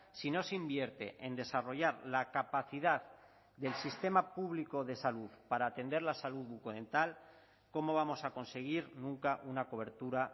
si no se invierte en desarrollar la capacidad del sistema público de salud para atender la salud bucodental cómo vamos a conseguir nunca una cobertura